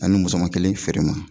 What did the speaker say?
Ani musoman kelen feere n ma.